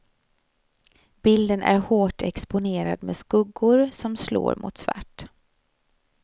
Bilden är hårt exponerad med skuggor som slår mot svart.